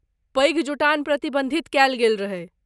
पैघ जुटान प्रतिबन्धित कयल गेल रहै।